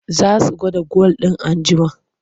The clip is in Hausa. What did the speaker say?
Za su auna gwal. in an jima